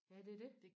ja det er det